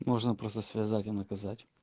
можно просто связать и наказать